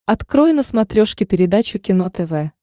открой на смотрешке передачу кино тв